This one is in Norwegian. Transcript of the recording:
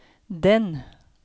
den